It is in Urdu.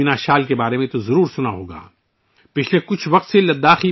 پشمینہ شال کے بارے میں آپ نے یقیناً سنا ہوگا